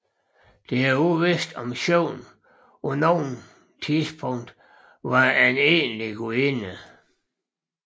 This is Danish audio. Det er uvidst om Sjøvn på noget tidspunkt vat en egentlig gudinde